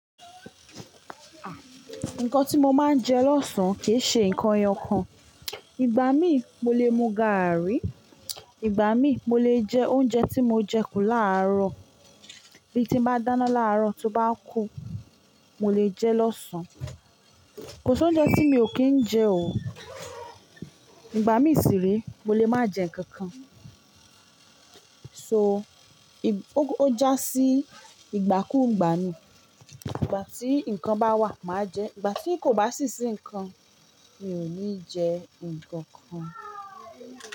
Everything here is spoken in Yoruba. Nǹkan tí mo máa ń jẹ lọ́sàn-án kì í ṣe nǹkan ẹyọkan. Ìgbà mí mo lè mu gàárì, ìgbà mí mo lè jẹ oúnjẹ tí mo jẹ kù láàrọ̀. Bí tí bá dáná láàrọ̀, tó bá kù, mo lè jẹ lọ́sàn. Kò si ouńjẹ tí mi ò kí ń jẹ o. Ìgbà mí sire mo lè má jẹ nǹkan kan. So, ó jásí ìgbà kú ìgbà ní. Ìgbà tí nǹkan bá wà, màá jẹ. Ìgbà tí kò bá sí sí nǹkan, mi ò ní jẹ nǹkan kan.